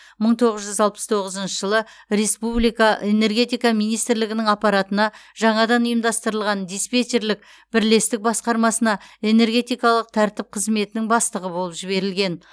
мың тоғыз жүз алпыс тоғызыншы жылы республика энергетика министрлігінің аппаратына жаңадан ұйымдастырылған диспетчерлік бірлестік басқармасына энергетикалық тәртіп қызметінің бастығы болып жіберілген